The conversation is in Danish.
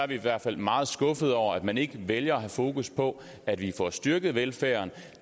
vi i hvert fald meget skuffet over at man ikke vælger at have fokus på at vi får styrket velfærden